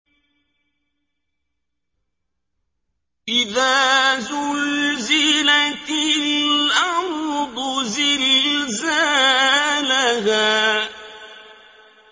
إِذَا زُلْزِلَتِ الْأَرْضُ زِلْزَالَهَا